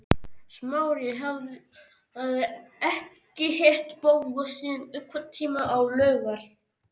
Smári hafði ekki hitt Bóas síðan einhvern tíma á laugar